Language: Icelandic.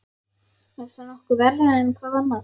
Er það nokkuð verra en hvað annað?